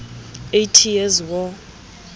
eighty years war